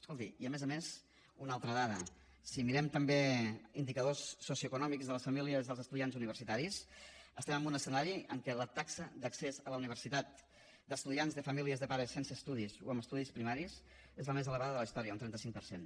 escolti i a més a més una altra dada si mirem també indicadors socioeconòmics de les famílies dels estudiants universitaris estem en un escenari en què la taxa d’accés a la universitat d’estudiants de famílies de pares sense estudis o amb estudis primaris és la més elevada de la història un trenta cinc per cent